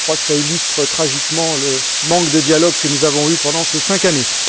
Cela illustre tragiquement le manque de dialogue que nous avons eu pendant ces cinq années.